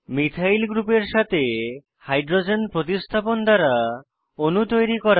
methyl গ্রুপের সাথে hydrogen প্রতিস্থাপন দ্বারা অণু তৈরি করা